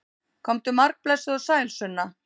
Komdu margblessuð og sæl, Sunna!